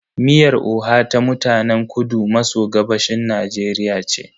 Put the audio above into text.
Miyar oha ta mutanen kudu maso gabashin Najeriya ce.